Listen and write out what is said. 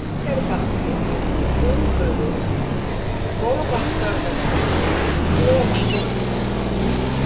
Stekkjarbakki, Útbugur, Torfaskarðasund, Klofasund